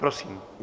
Prosím.